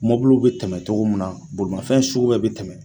Mobili bɛ tɛmɛ cogo min na bolimafɛn sugu bɛɛ bɛ tɛmɛ